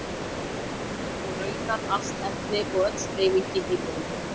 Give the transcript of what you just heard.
Og raunar allt efni og öll hreyfing í heiminum.